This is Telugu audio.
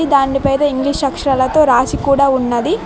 దాని పేద ఇంగ్లీష్ అక్షరాలతో రాసి కూడా ఉన్నది.